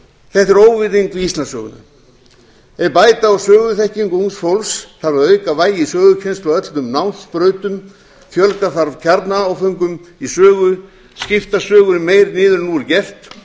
þetta er óviðeigandi við íslandssöguna ef bæta á söguþekkingu ungs fólks þarf að auka vægi sögukennslu á öllum námsbrautum fjölga þarf kjarnaáföngum í sögu skipta sögunni meira niður en nú er gert